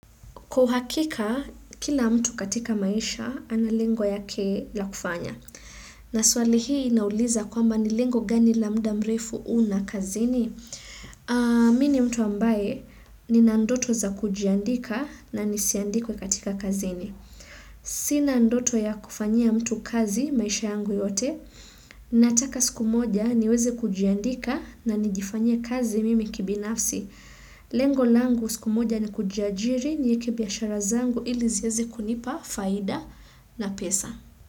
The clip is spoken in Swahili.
Kwauhakika, kila mtu katika maisha analengo yake la kufanya. Na swali hii inauliza kwamba nilengo gani lamuda mrefu una kazini. Mini mtu ambaye ni nandoto za kujiandika na nisiandikwe katika kazini. Sina ndoto ya kufanyia mtu kazi maisha yangu yote. Nataka siku moja niweze kujiandika na nijifanyia kazi mimi kibinafsi. Lengo langu siku moja ni kujiajiri niekebiashara zangu ili zieze kunipa faida na pesa.